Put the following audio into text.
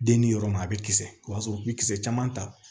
Den ni yɔrɔ ma a bɛ kisɛ o y'a sɔrɔ u bɛ kisɛ caman ta